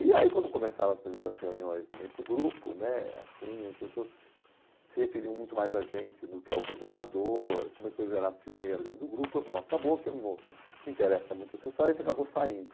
E aí quando começaram as primeiras reuniões nesse grupo né assim, as pessoas se referiam muito mais a gente do que ao coordenador, começou a gerar ciumeira dentro do grupo, bom, acabou que não interessa muito essa história, a gente acabou saindo.